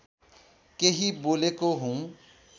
केही बोलेको हुँ